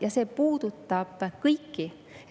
" Ja see puudutab kõiki.